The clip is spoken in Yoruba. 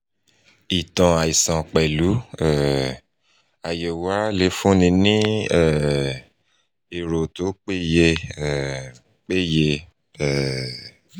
ìtàn àìsàn pẹ̀lú um àyẹ̀wò ara lè fúnni ní um èrò tó peye um peye um